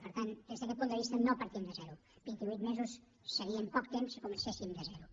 per tant des d’aquest punt de vista no partim de zero vint ivuit mesos seria poc temps si comencéssim de zero